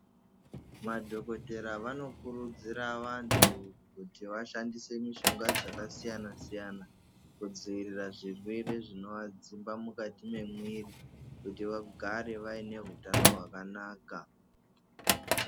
Madhogodhera vanokurudzira vantu kuti vashandise mishonga dzakasiyana-siyana, kudziirira zvirwere zvinovadzimba mukati memwiri, kuti vagare vaine hutano hwakanaka.